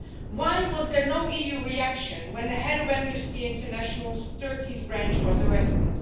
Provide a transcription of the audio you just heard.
Why was there no EU reaction when the head of Amnesty International's Turkish branch was arrested?